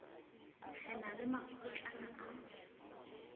re na le makgutlana a